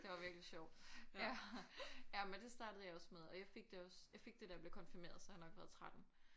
Det var virkelig sjovt. Ja ja men det startede jeg også med og jeg fik det også jeg fik det da jeg blev konfirmeret så jeg har nok været 13